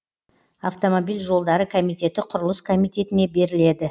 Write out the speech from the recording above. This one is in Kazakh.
автомобиль жолдары комитеті құрылыс комитетіне беріледі